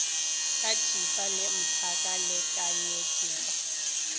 ka thipa le mphaka lekanyetpa